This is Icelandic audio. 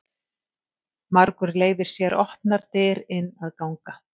Margur leyfir sér opnar dyr inn að ganga.